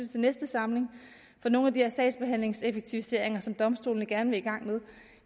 til næste samling for nogle af de her sagsbehandlingseffektiviseringer som domstolene gerne vil i gang med